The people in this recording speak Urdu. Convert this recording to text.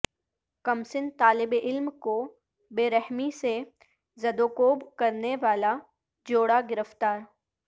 کمسن طالب علم کو بے رحمی سے زدوکوب کرنے والا جوڑا گرفتار